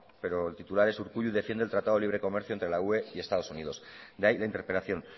pero el titular es urkullu defiende el tratado de libre comercio entre la ue y estados unidos de ahí la interpelación